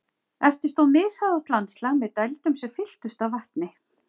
Eftir stóð mishæðótt landslag með dældum sem fylltust af vatni.